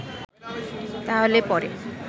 তাহলে পরে